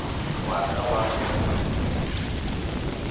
wa ka wa go se